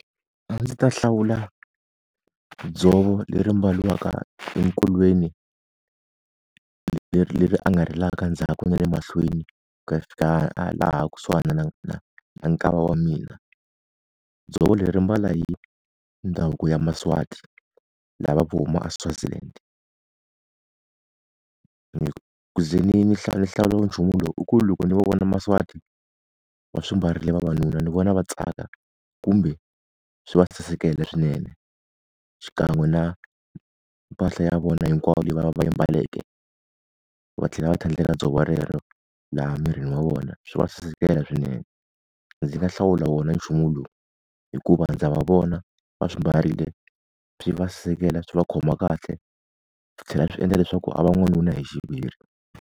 A ndzi ta hlawula dzovo leri mbariwa enkolweni leri leri a nga ri endzhaku na le mahlweni ku ya fika a laha kusuhana na na nkava wa mina. Dzovo leri ri mbala hi ndhavuko ya maSwati, lava ku huma aSwaziland. ku ze ni ni ni hlawula nchumu lowu u ku loko ni vona maSwati va swi mbarile vavanuna ni vona va tsaka kumbe swi va sasekela swinene xikan'we na mpahla ya vona hinkwayo leyi va va yi mbaleke, va tlhela va tlhandlekela dzovo rero laha emirini wa vona swi va sasekela swinene. Ndzi nga hlawula wona nchumu lowu hikuva ndza va vona va swi mbarile swi va seketela swi va khoma kahle, swi tlhela swi endla leswaku a va n'wanuna hi xiviri.